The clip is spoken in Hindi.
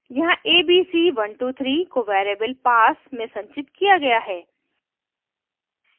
यहाँ abc123 को variable pass में संचित किया गया है